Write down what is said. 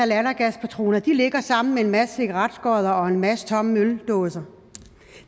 lattergaspatroner ligger de sammen med en masse cigaretskod og en masse tomme øldåser